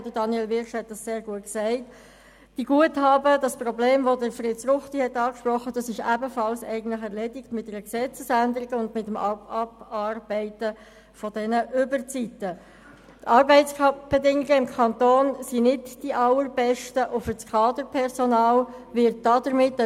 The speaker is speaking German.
Wir führten auch in Uetendorf die Vertrauensarbeitszeit vor mehr als zehn Jahren ein, allerdings nicht mit einem Pflichtenheft.